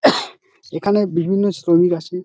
এখানে বিভিন্ন শ্রমিক আসে।